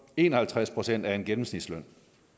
en og halvtreds procent af en gennemsnitsløn